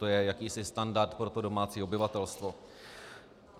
To je jakýsi standard pro to domácí obyvatelstvo.